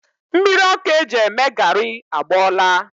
Mmiri ọkụ e ji eme gari agbọọla